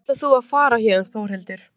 En hvernig ætlar þú að fara héðan Þórhildur?